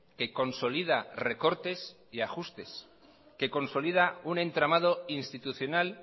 que consolida recortes y ajustes que consolida un entramado institucional